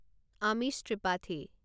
আমিষ ত্ৰিপাঠী